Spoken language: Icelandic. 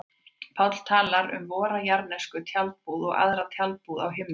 Páll talar um vora jarðnesku tjaldbúð og aðra tjaldbúð á himnum.